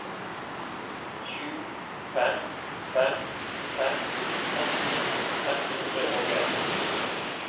sju fem fem fem åtti fem hundre og en